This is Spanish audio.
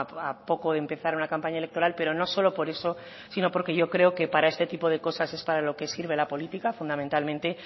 a poco de empezar una campaña electoral pero no solo por eso sino porque yo creo que para este tipo de cosas es para lo que sirve la política fundamentalmente